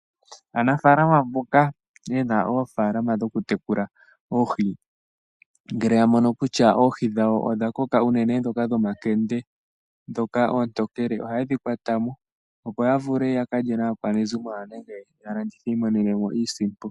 Aanafaalama mboka ye na oofaalama dhokutekula oohi ngele ya mono kutya oohi dhawo odha koka unene ndhoka dhomakende ndhoka oontokele ohaye dhi kwata mo opo ya vule ya kalye naakwanezimo yawo nenge yalandithe yi imonene mo iisimpo.